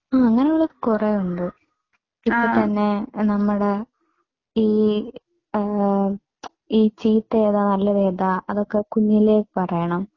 ആ അങ്ങനെ ഉള്ളത് കുറെ ഉണ്ട്. ഇപ്പോ തന്നെ നമ്മുടെ ഈ ഈ ചീത്ത ഏതാ നല്ലതേതാ അതൊക്കെ കുഞ്ഞിലേ പറയണം.